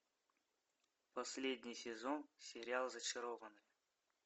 последний сезон сериал зачарованные